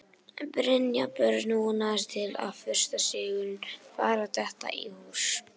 Brynjar Björn vonast til að fyrsti sigurinn fari að detta í hús.